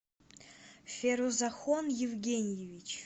ферузахон евгеньевич